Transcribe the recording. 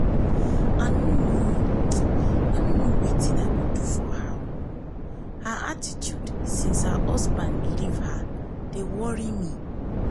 i no know um i no know wetin i go do for her. o her attitude since her husband leave her dey worry me